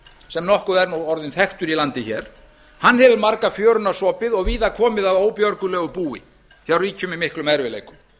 sem nokkuð er nú orðinn þekktur í landi hér hefur marga fjöruna sopið og víða komið að óbjörgulegu búi hjá ríkjum í miklum erfiðleikum